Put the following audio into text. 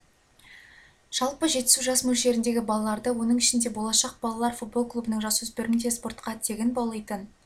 жалпы жетісу жас мөлшеріндегі балаларды оның ішінде болашақ балалар футбол клубының жасөспірімдерін де спортқа тегін баулитын